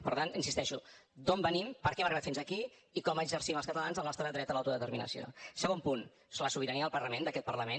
per tant insisteixo d’on venim per què hem arribat fins aquí i com exercim els catalans el nostre dret a l’autodeterminació segon punt la sobirania del parlament d’aquest parlament